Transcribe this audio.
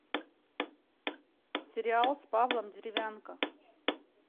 сериал с павлом деревянко